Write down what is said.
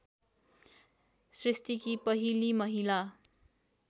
सृष्टिकी पहिली महिला